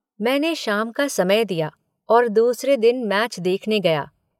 मैने शाम का समय दिया और दूसरे दिन मैच देखने गया।